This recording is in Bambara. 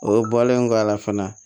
O bɔlen kɔ a la fana